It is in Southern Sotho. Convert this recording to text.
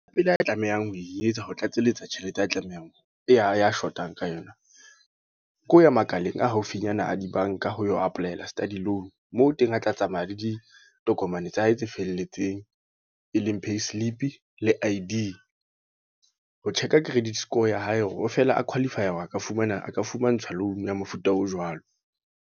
Pele a tlamehang ho e etsa. Ho tlatselletsa tjhelete ya tlamehang, ya ya shotang ka yona. Ke ho ya makaleng a haufinyana a dibanka ho apply-ela Student Loan. Moo teng a tla tsamaya le ditokomane ho mane tsa hae tse felletseng. E leng Payslip le I_D. Ho check-a credit score ya hae hore feela a qualify a hore a ka fumana, a ka fumantshwa loan ya mofuta o jwalo.